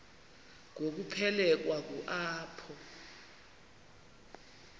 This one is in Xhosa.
ngokuphelekwa ngu apho